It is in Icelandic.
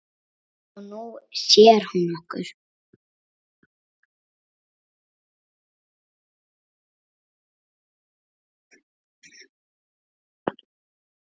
Já, Nú sér hún okkur